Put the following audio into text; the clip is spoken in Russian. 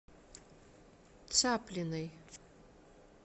цаплиной